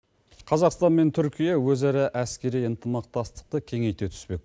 қазақстан мен түркия өзара әскери ынтымақтастықты кеңейте түспек